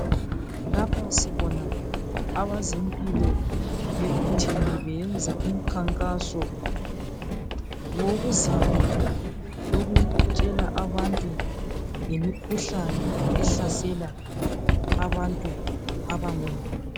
Lapha sibona abezimpilo bebuthene, beyenza umkhankaso wokuzama ukutshela abantu ngemikhuhlane ehlasela abantu abangomama.